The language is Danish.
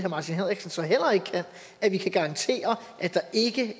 martin henriksen så heller ikke kan at vi kan garantere at der